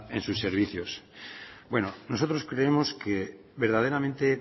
en sus servicios bueno nosotros creemos que verdaderamente